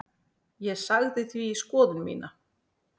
Ég sagði því skoðun mína.